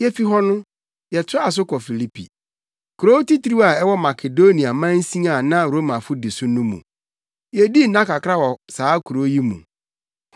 Yefi hɔ no, yɛtoaa so kɔɔ Filipi, kurow titiriw a ɛwɔ Makedonia mansin a na Romafo di so no mu. Yedii nna kakra wɔ saa kurow yi mu.